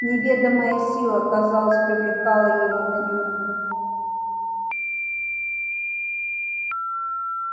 неведомая сила казалось привлекала его к нему